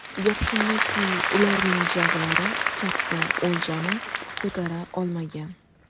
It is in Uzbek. Gap shundaki, ularning jag‘lari katta o‘ljani ko‘tara olmagan.